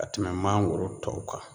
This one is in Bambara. Ka tɛmɛ mangoro tɔw kan